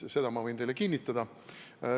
Seda ma võin teile kinnitada.